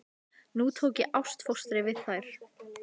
Nú tók ég ástfóstri við þær.